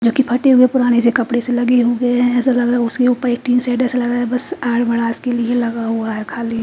जो की फट्टे हुए पुराने से कपड़े से लगे हुए है ऐसा लगरा है उसके उपर एक टिन सेड ऐसा लगरा है बस आर भड़ास के लिए लगा हुआ है खाली--